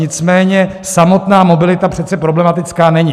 Nicméně samotná mobilita přece problematická není.